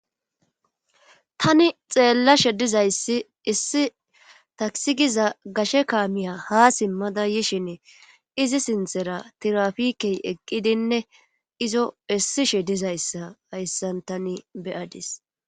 Tani xeelashe dizayssi issi takisi giza gashe kaamiya haa simmada yishini izi sinthera tiraafikey eqqidinne izo essishe dizayssa hayssan tani be7adis.